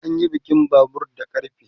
anyi jikin Babur da ƙarfe